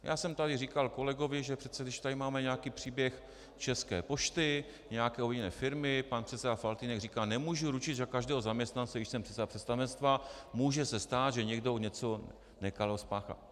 Já jsem tady říkal kolegovi, že přece když tady máme nějaký příběh České pošty, nějaké jiné firmy, pan předseda Faltýnek říká: Nemůžu ručit za každého zaměstnance, když jsem předseda představenstva, může se stát, že někdo něco nekalého spáchá.